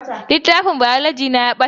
Littafin Biology ɗina ya ɓata